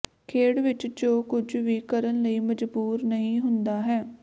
ਖੇਡ ਵਿਚ ਜੋ ਕੁਝ ਵੀ ਕਰਨ ਲਈ ਮਜਬੂਰ ਨਹੀਂ ਹੁੰਦਾ ਹੈ